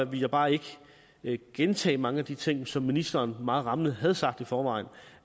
ville jeg bare ikke ikke gentage mange af de ting som ministeren meget rammende havde sagt i forvejen